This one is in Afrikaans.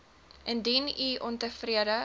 indien u ontevrede